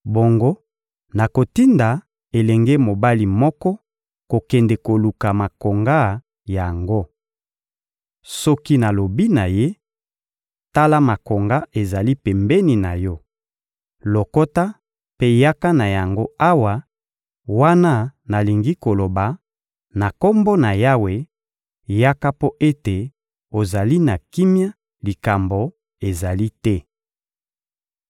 Bongo nakotinda elenge mobali moko kokende koluka makonga yango. Soki nalobi na ye: «Tala, makonga ezali pembeni na yo, lokota mpe yaka na yango awa,» wana nalingi koloba: «Na Kombo na Yawe, yaka mpo ete ozali na kimia, likambo ezali te.»